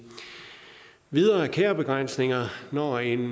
videre er der kærebegrænsninger når en